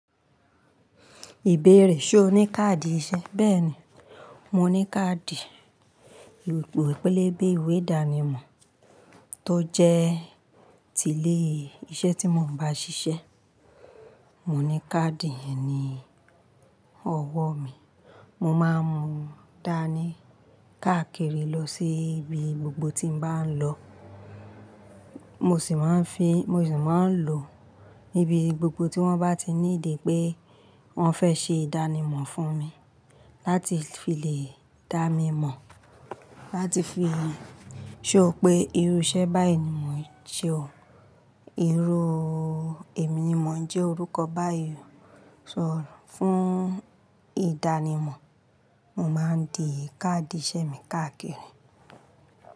Ìbéèrè, ṣe o ní káàdì ìṣe? Bẹ́ẹ̀ni, mo ní káàdì, ìwe pélébé ìwé ìdánimọ̀ tó jẹ́ ti ilé iṣẹ́ tí mo ń bá ṣiṣẹ́. Mo ní káàdì ye ni ọwọ́ mi, mo máa ń mú dànì káàkiri lọ sí ibi gbogbo tí m bá ń lọ. Mo sì máa ń lò níbi gbogbo tí wọ́n bá ti need pé wọ́n fẹ́ ṣe ìdánimọ̀ fún mi láti fi lè dá mi mọ̀. Láti fi show pé irú iṣẹ́ báyìí ni mo ń ṣe o? Irú èmi ni mo ń jẹ́ orúkọ báyìí sọ fún ìdánimọ̀. Mo máa ń di káàdì iṣẹ́ mi káàkiri.